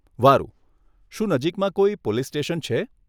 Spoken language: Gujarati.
વારુ, શું નજીકમાં કોઈ પોલીસ સ્ટેશન છે?